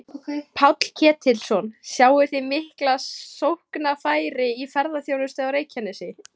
Páll Ketilsson: Sjáið þið mikil sóknarfæri í ferðaþjónustu á Reykjanesi?